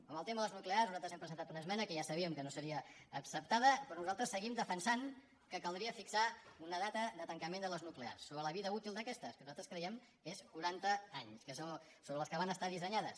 en el tema de les nuclears nosaltres hem presen·tat una esmena que ja sabíem que no seria acceptada però nosaltres seguim defensant que caldria fixar una data de tancament de les nuclears sobre la vida útil d’aquestes que nosaltres creiem que són quaran·ta anys que és per al que van estar dissenyades